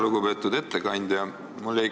Lugupeetud ettekandja!